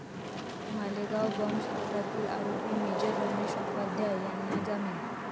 मालेगाव बॉम्बस्फोटातील आरोपी मेजर रमेश उपाध्याय यांना जामीन